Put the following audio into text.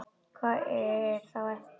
Hvað er þá eftir?